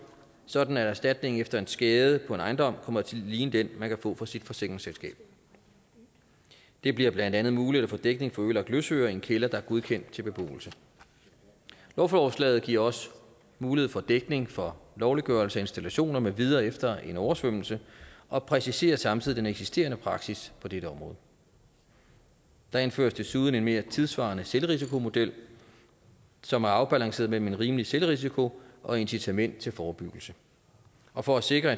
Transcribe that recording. sådan at erstatningen efter en skade på en ejendom kommer til at ligne den man kan få fra sit forsikringsselskab det bliver blandt andet muligt at få dækning for ødelagt løsøre i en kælder der er godkendt til beboelse lovforslaget giver også mulighed for dækning for lovliggørelse af installationer med videre efter en oversvømmelse og præciserer samtidig den eksisterende praksis på dette område der indføres desuden en mere tidssvarende selvrisikomodel som er afbalanceret mellem en rimelig selvrisiko og incitament til forebyggelse og for at sikre